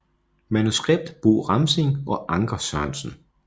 Manuskript Bob Ramsing og Anker Sørensen